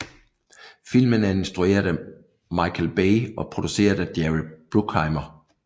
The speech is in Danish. Filmen er instrueret af Michael Bay og produceret af Jerry Bruckheimer